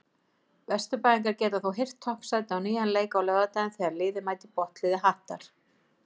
Vesturbæingar geta þó hirt toppsætið á nýjan leik á laugardaginn þegar liðið mætir botnliði Hattar.